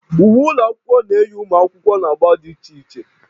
Uwe ụlọ akwụkwọ na-eyi ụmụ akwụkwọ na agba dị iche iche